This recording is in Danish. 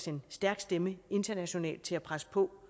en stærk stemme internationalt til at presse på